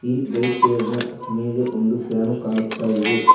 ಈ bike tyre ನ ಮೇಲೆ ಒಂದು ಪ್ಯಾನು ಕಾಣುತ್ತಾ ಇದೆ.